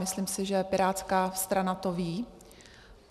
Myslím si, že pirátská strana to ví.